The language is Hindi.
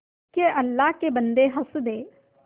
के अल्लाह के बन्दे हंस दे